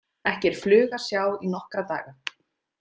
Ekki er flugu að sjá í nokkra daga.